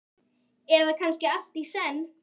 Eða kannski allt í senn?